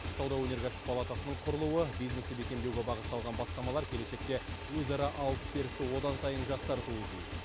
сауда өнеркәсіп палатасының құрылуы бизнесті бекемдеуге бағытталған бастамалар келешекте өзара алыс берісті одан сайын жақсартуы тиіс